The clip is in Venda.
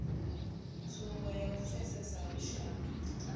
tsumbo ya u pfesesa lushaka